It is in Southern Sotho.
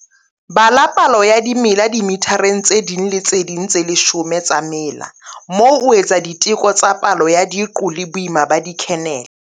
Bala palo ya dimela dimethareng tse tse ding le tse ding tse leshome tsa mela moo o etsa diteko tsa tsa palo ya diqo le boima ba dikhenele.